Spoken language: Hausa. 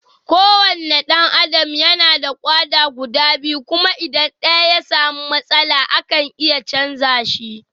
Kowane ɗan Adam yana da ƙoda guda biyu kuma idan ɗaya ya sami matsala, akan iya chanza shi.